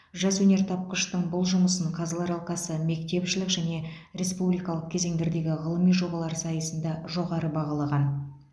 жас өнертапқыштың бұл жұмысын қазылар алқасы мектепішілік және республикалық кезеңдердегі ғылыми жобалар сайысында жоғары бағалаған